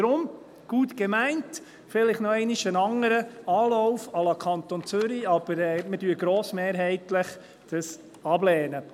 Deshalb: Gut gemeint – vielleicht noch einmal ein anderer Anlauf à la Kanton Zürich –, aber wir lehnen dies grossmehrheitlich ab.